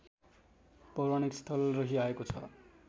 पौराणिक स्थल रहिआएको छ